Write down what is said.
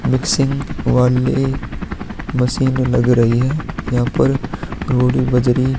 Mixing वाली मशीने लग रही है यहाँ पर रोड भी बज रही हैं।